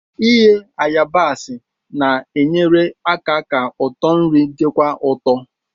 Ighe yabaasi na-enyere aka ka ụtọ nri dịkwuo ụtọ.